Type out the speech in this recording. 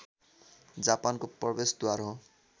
जापानको प्रवेशद्वार हो